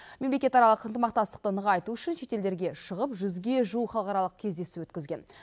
мемлекетаралық ынтымақтастықты нығайту үшін шетелдерге шығып жүзге жуық халықаралық кездесу өткізген